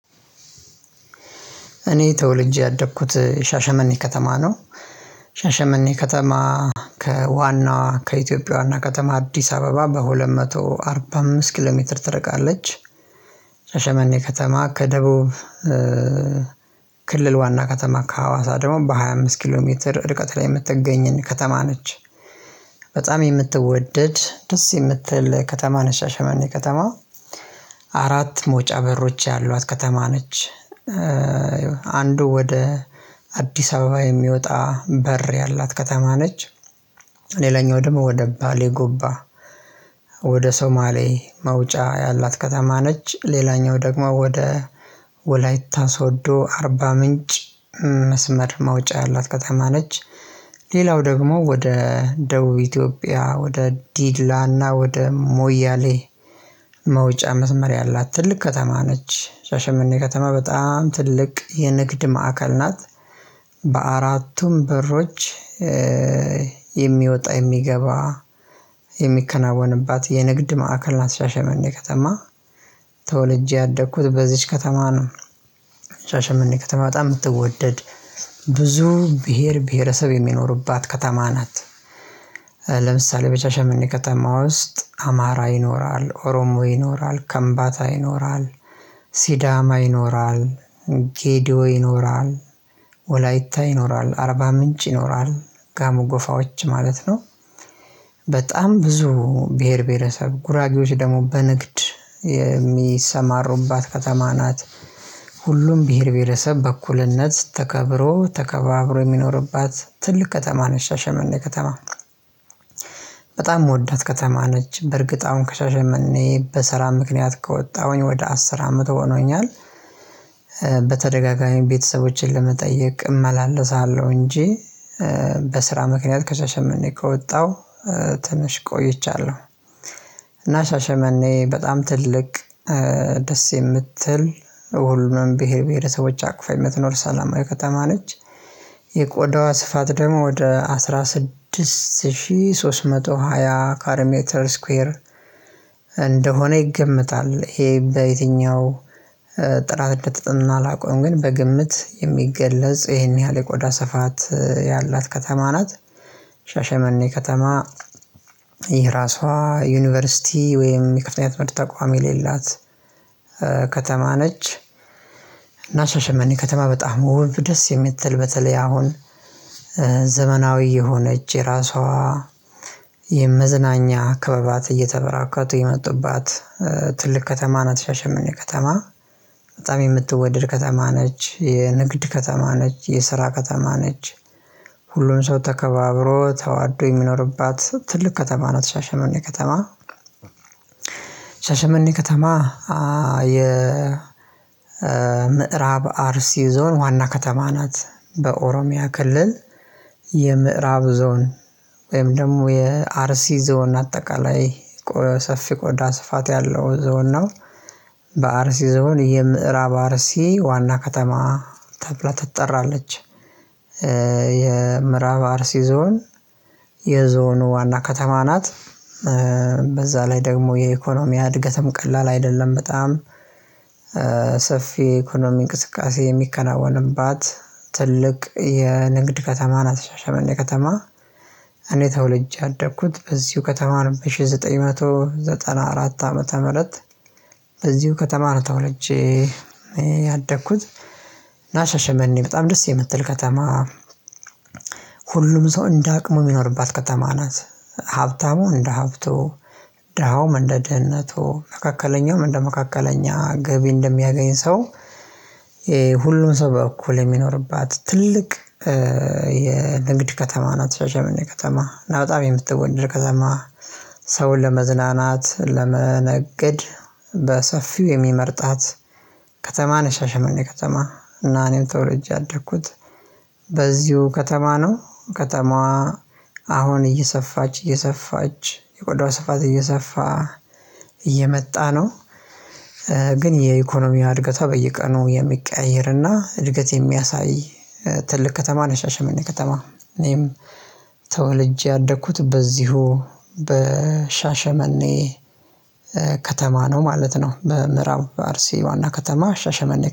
እኔ ተወልጄ ያደኩት ሻሸመኔ ከተማ ነው። ሻሸመኔ ከተማ ከዋናዋ ከኢትዮጵያ ዋና ከተማ አዲስ አበባ በሁለት መቶ አርባ አምስት ኪሎ ሜትር ትርቃለች። ሻሸመኔ ከተማ ከደቡብ። ክልል ዋና ከተማ ከሀዋሳ ደግሞ በሃያ አምስት ኪሎ ሜትር ርቀት ላይ የምትገኝን ከተማ ነች። በጣም የምትወደድ ደስ የምትል ከተማ ነች ሻሸመኔ ከተማ። አራት መውጫ በሮች ያሏት ከተማ ነች። አንዱ ወደ አዲስ አበባ የሚወጣ በር ያላት ከተማ ነች። ሌላኛው ደግሞ ወደ ባሌ ጎባ ወደ ሶማሌ መውጫ ያላት ከተማ ነች ሌላኛው ደግሞ ወደ ወላይታ ሶዶ አርባ ምንጭ መስመር መውጫ ያላት ከተማ ነች። ሌላው ደግሞ ወደ ደቡብ ኢትዮጵያ ወደ ዲድላና ወደ ሞያሌ መውጫ መስመር ያላት ትልቅ ከተማ ነች ሻሸመኔ ከተማ በጣም ትልቅ የንግድ ማዕከል ናት። በአራቱም በሮች የሚወጣ የሚገባ የሚከናወንባት የንግድ ማዕከል ናት ሻሸመኔ ከተማ። ተወልጄ ያደኩት በዚህች ከተማ ነው። ሻሸመኔ ከተማ በጣም የምትወደድ ብዙ ብሄር ብሄረሰብ የሚኖሩባት ከተማ ናት። ለምሳሌ በቻሸምኔ ከተማ ውስጥ አማራ ይኖራል ኦሮሞ ይኖራል ከምባታ ይኖራል ሲዳማ ይኖራል ጌድዮ ይኖራል ወላይታ ይኖራል አርባ ምንጭ ይኖራል ጋሙ ጎፋዎች ማለት ነው። በጣም ብዙ ብሄር ብሄረሰብ ጉራጌዎች ደግሞ በንግድ የሚሰማሩባት ከተማ ናት። ሁሉም ብሄር ቤተሰብ በእኩልነት ተከብሮ ተከባብሮ የሚኖርባት ትልቅ ከተማ ነች ሻሸመኔ ከተማ። በጣም የምወዳት ከተማ ነች በርግጥ አሁን ከሻሸመኔ በስራ ምክንያት ከወጣሁኝ ወደ አስር አመት ሆኖኛል። በተደጋጋሚ ቤተሰቦችን ለመጠየቅ እመላለሳለሁ እንጂ በስራ ምክንያት ከሸሸመኔ ከወጣሁ ትንሽ ቆይቻለሁ። እና ሻሸመኔ በጣም ትልቅ ደስ የምትል ሁሉንም ብሄር ብሄረሰቦች አቅፋ የምትኖር ሰላማዊ ከተማ ነች። የቆዳዋ ስፋት ደግሞ ወደ አስራ ስድስት ሺህ ሶስት መቶ ሃያ ካሬ ሜትር ስኩዌር እንደሆነ ይገመታል ይሄ በየትኛው ጥናት እንደተጠና አላውቅም ግን በግምት የሚገለጽ ይሄን ያህል የቆዳ ሰፋት ያላት ከተማ ናት። ሻሸመኔ ከተማ የራሷ ዩኒቨርሲቲ ወይም የከፍተኛ ትምህርት ተቋም የሌላት ከተማ ነች። እና ሻሸመኔ ከተማ በጣም ውብ ደስ የምትል በተለይ አሁን ዘመናዊ የሆነች የራሷ የመዝናኛ አካባቢ እየተበራከቱ የመጡባት ትልቅ ከተማ ናት ሻሻመኔ ከተማ በጣም የምትወድድ ከተማ ነች የንግድ ከተማ ነች የስራ ከተማ ነች። ሁሉም ሰው ተከባብሮ ተዋዶ የሚኖርባት ትልቅ ከተማ ናት ሻሸመኔ ከተማ። ሻሸመኔ ከተማ የ የምዕራብ አርሲ ዞን ዋና ከተማ ናት። በኦሮሚያ ክልል የምዕራብ ዞን ወይም ደግሞ የአርሲ ዞን አጠቃላይ ቆ ሰፊ ቆዳ ስፋት ያለው ዞን ነው። በአርሲ ዞን የምዕራብ አርሲ ዋና ከተማ ተብላ ትጠራለች። የምዕራብ አርሲ ዞን የዞኑ ዋና ከተማ ናት። በዛ ላይ ደግሞ የኢኮኖሚ እድገትም ቀላል አይደለም በጣም ሰፊ የኢኮኖሚ እንቅስቃሴ የሚከናወንባት ትልቅ የንግድ ከተማን ሻሻመኔ ከተማ። እኔ ተወልጄ ያደኩት በዚሁ ከተማን በአንድ ሺህ ዘጠኝ መቶ ዘጠና አራት ዓመተ ምህረት በዚሁ ከተማ ነው ተወለቼ። ያደግኩት እና ሻሸመኔ በጣም ደስ የምትል ከተማ። ሁሉም ሰው እንደ አቅሙ የሚኖርባት ከተማ ናት። ሀብታሙ እንደ ሀብቱ ደሃውም እንደ ድህንነቱ መካከለኛውም እንደ መካከለኛ ገቢ እንደሚያገኝ ሰው። ሁሉም ሰው በኩል የሚኖርባት ትልቅ የንግድ ከተማ ናት ሻሸመኔ ከተማ እና በጣም የምትጎንድር ከተማ። ሰውን ለመዝናናት ለመነገድ በሰፊው የሚመርጣት ከተማ ነች። ሻሸመኔ ከተማ እና እኔም ተወርጄ አደኩት በዚሁ ከተማ ነው። ከተማዋ አሁን እየሰፋች እየሰፋች የቆዳዋ ሰፋት እየሰፋ እየመጣ ነው። ግን የኢኮኖሚው እድገቷ በየቀኑ የሚቀያየርና እድገት የሚያሳይ ትልቅ ከተማ ነች ሻሸመኔ ከተማ። እኔም ተወልጄ ያደኩት በዚሁ በሻሸመኔ ከተማ ነው ማለት ነው። በምዕራብ አርሲ ዋና ከተማ ሻሸመኔ